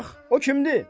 Bax, o kimdir?